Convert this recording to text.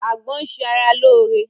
Àgbọn ń ṣe ara lóore